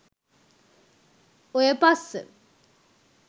ඔය පස්ස